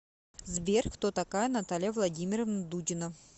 сбер кто такая наталья владимировна дудина